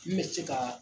N bɛ se ka